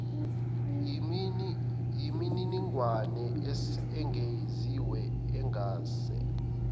yimininingwane engeziwe engase